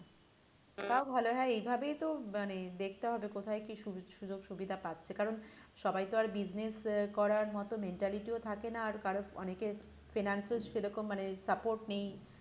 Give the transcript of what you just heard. ওটাও ভালো হ্যাঁ এই ভাবেই তো মানে দেখতে হবে মানে কোথায় কি সু সুযোগ সুবিধা পাচ্ছে কারণ সবাই তো আর business আহ করার মতো mentality ও থাকে না আর কারো অনেকের finance ও সেরকম মানে support নেই